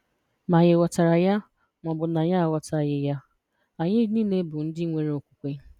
Ma ànyị ghọtara ya ma ọ bụ na anyị aghọtaghị ya, anyị nile bụ ndị nwere okwukwe.